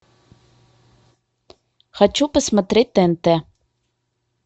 хочу посмотреть тнт